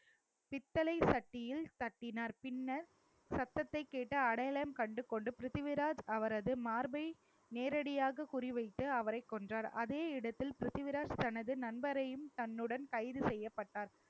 பித்தளை சட்டியில் தட்டினார் பின்னர் சத்தத்தைக் கேட்டு அடையாளம் கண்டு கொண்டு பிரித்திவிராஜ் அவரது மார்பை நேரடியாக குறிவைத்து அவரைக் கொன்றார் அதே இடத்தில் பிரித்திவிராஜ் தனது நண்பரையும் தன்னுடன் கைது செய்யப்பட்டார்